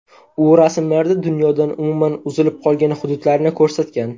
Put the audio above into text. U rasmlarida dunyodan umuman uzilib qolgan hududlarni ko‘rsatgan.